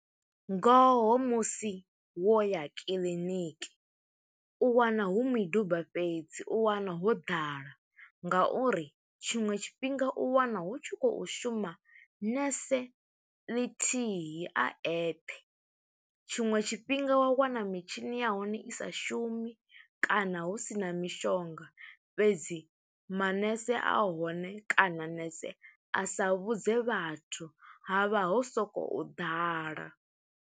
Ngoho musi wo ya kiḽiniki, u wana hu miduba fhedzi. U wana ho ḓala nga uri tshiṅwe tshifhinga u wana hu tshi khou shuma nese ḽithihi, a eṱhe. Tshiṅwe tshifhinga wa wana mitshini ya hone i sa shumi, kana hu sina mishonga fhedzi, manese a hone kana nese a sa vhudze vhathu ha vha ho sokou ḓala.